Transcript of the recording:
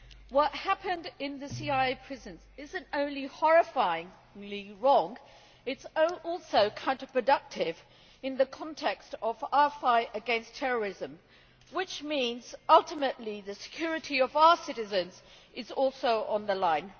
What happened in the CIA prisons is not only horrifying and legally wrong, it is also counterproductive in the context of our fight against terrorism, which means ultimately the security of our citizens is also on the line.